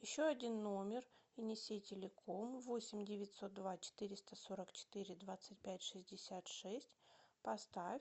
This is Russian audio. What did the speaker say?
еще один номер внеси телеком восемь девятьсот два четыреста сорок четыре двадцать пять шестьдесят шесть поставь